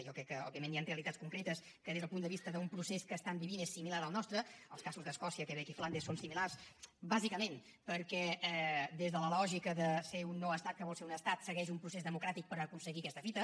jo crec que òbviament hi han realitats concretes que des del punt de vista d’un procés que estan vivint és similar al nostre els casos d’escòcia quebec i flandes són similars bàsicament perquè des de la lògica de ser un no estat que vol ser un estat segueix un procés democràtic per aconseguir aquesta fita